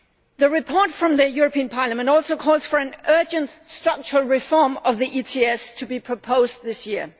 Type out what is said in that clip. The report from the European Parliament also calls for an urgent structural reform of the ETS to be proposed this year.